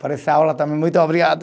Por essa aula também, muito obrigado.